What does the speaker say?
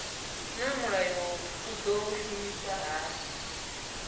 naa mulayo u do shumiswa hani